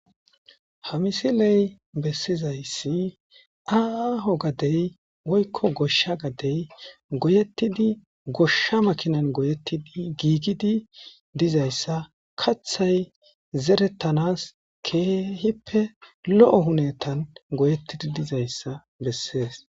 hamisiley bessizayssi aaho gadey woykko goshsha gadey goyettidi goshsha makinan goyettidi giigidi dizayssa kathay zerettanas keehippe lo7o hunetan goyettidi dizayssa bessees